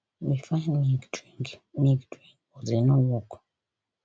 we find milk drink milk drink but e no work